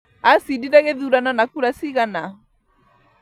Acindire gĩthurano na kura cigana?